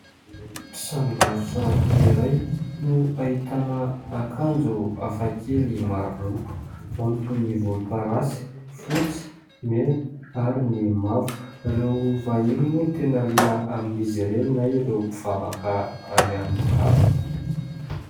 Tranom-barotra iray no ahitana akanjo hafakely maro loko ao ny toy ny volomparasy, fotsy, mena ary ny mavo. Ireo vahiny moa no tena liana amin'izy ireny na ireo mpivavaka any an-kafa.